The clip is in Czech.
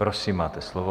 Prosím, máte slovo.